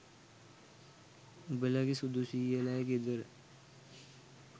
උබලගේ සුදු සියලගේ ගෙදර